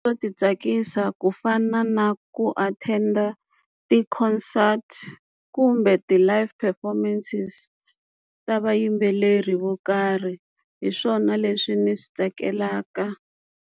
Swo ti tsakisa ku fana na ku attend-a ti-concert kumbe ti-live performances ta vayimbeleri vo karhi hi swona leswi ndzi swi tsakelaka.